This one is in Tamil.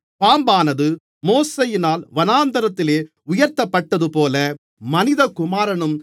பாம்பானது மோசேயினால் வனாந்திரத்திலே உயர்த்தப்பட்டதுபோல மனிதகுமாரனும்